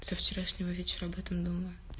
со вчерашнего вечера об этом думаю